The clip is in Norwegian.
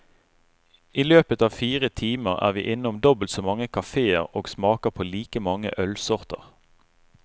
I løpet av fire timer er vi innom dobbelt så mange kaféer og smaker på like mange ølsorter.